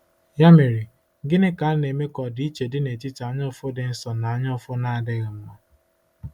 Ya mere, gịnị ka na-eme ka ọdịiche dị n’etiti anyaụfụ dị nsọ na anyaụfụ na-adịghị mma?